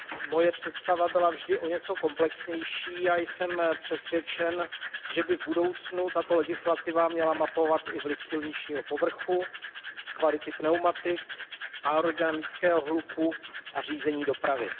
Moje představa byla vždy o něco komplexnější a jsem přesvědčen, že by v budoucnu tato legislativa měla mapovat i vliv silničního povrchu, kvality pneumatik, aerodynamického hluku a řízení dopravy.